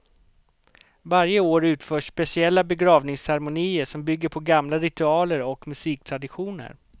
Varje år utförs speciella begravningsceremonier som bygger på gamla ritualer och musiktraditioner.